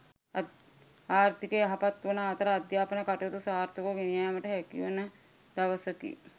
ආර්ථිකය යහපත් වන අතර අධ්‍යාපන කටයුතු සාර්ථකව ගෙනයාමට හැකිවන දවසකි.